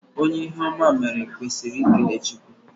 Onye ihe oma meere kwesịrị ikele Chukwu